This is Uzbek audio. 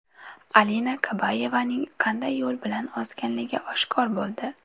Alina Kabayevaning qanday yo‘l bilan ozganligi oshkor bo‘ldi.